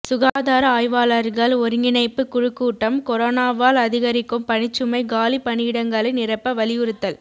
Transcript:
சுகாதார ஆய்வாளர்கள் ஒருங்கிணைப்பு குழு கூட்டம் கொரோனாவால் அதிகரிக்கும் பணிச்சுமை காலி பணியிடங்களை நிரப்ப வலியுறுத்தல்